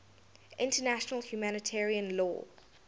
international humanitarian law